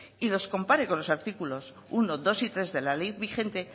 y los compare con los artículos uno dos y tres de la ley vigente